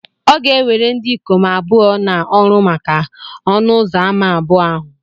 Ọ ga ewere ndị ikom abụọ na-oru maka ọnụ ụzọ ámá abụọ ahụ